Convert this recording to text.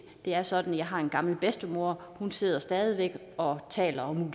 det er sådan at jeg har en gammel bedstemor og hun sidder stadig væk og taler om